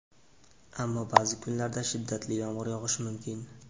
ammo ba’zi kunlarda shiddatli yomg‘ir yog‘ishi mumkin.